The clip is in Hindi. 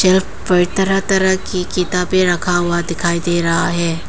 पर तरह तरह की किताबें रखा हुआ दिखाई दे रहा है।